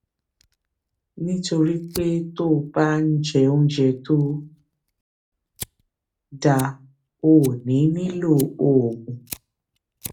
nítorí pé tó o bá ń jẹ oúnjẹ tó dáa o ò ní nílò oògùn